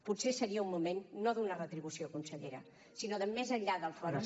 potser seria un moment no d’una retribució consellera sinó de més enllà del fòrum